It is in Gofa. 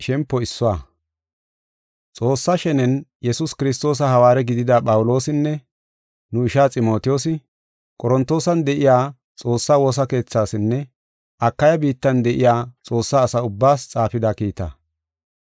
Xoossa shenen Yesuus Kiristoosa hawaare gidida Phawuloosinne, nu ishaa Ximotiyoosi, Qorontoosan de7iya Xoossaa woosa keethaasinne Akaya biittan de7iya Xoossaa asa ubbaas xaafida kiitaa.